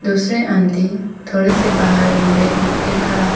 इसमें आंटी थोड़े से बाहर में बैग के खड़ा है।